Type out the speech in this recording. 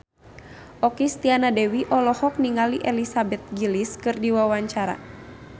Okky Setiana Dewi olohok ningali Elizabeth Gillies keur diwawancara